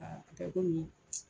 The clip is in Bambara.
kɛ komi